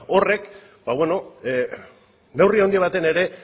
horrek neurri handi batean ere